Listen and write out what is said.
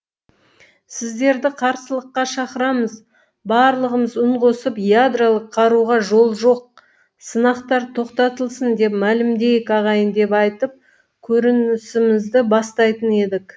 сіздерді қарсылыққа шақырамыз барлығымыз үн қосып ядролық қаруға жол жоқ сынақтар тоқтатылсын деп мәлімдейік ағайын деп айтып көрінісімізді бастайтын едік